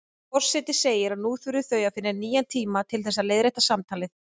Forseti segir að nú þurfi þau að finna nýjan tíma til þess að leiðrétta samtalið.